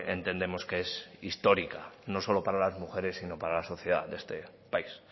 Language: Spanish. entendemos que es histórica no solo para las mujeres sino para la sociedad de este país